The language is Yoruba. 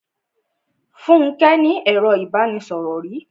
Fúnke ní ẹro ìbánisọ̀rò rí.